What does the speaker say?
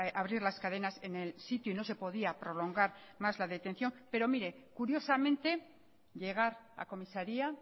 abrir las cadenas en el sitio y no se podía prolongar más la detención pero mire curiosamente llegar a comisaría